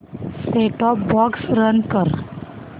set top box run कर